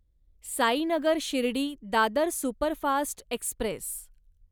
Sainagar Shirdi Dadar superfast Express